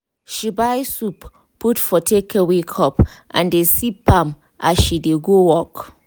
she buy soup put for takeaway cup and dey sip am as she dey go work.